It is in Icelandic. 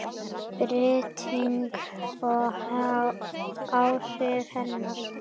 Birting og áhrif hennar.